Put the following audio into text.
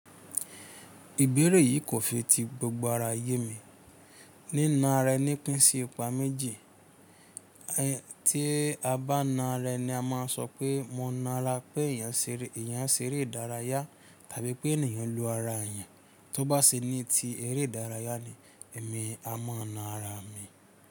Ìbéèrè yìí kò fi ti gbogbo ara yé mi. Nína ara ẹni pín sí ipá méjì. Tí a bá na ara ẹni a máa sọ pé mo na ara pé èèyàn ń ṣe eré ìdárayá tàbí pé ènìyàn lu ara èèyàn. Tí ó bá ṣe ní ti eré ìdárayá ni èmi a mọ̀ na ara mi.